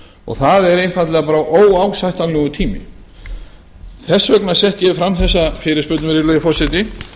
og það er einfaldlega bara óásættanlegur tími þess vegna setti ég fram þessa fyrirspurn virðulegi forseti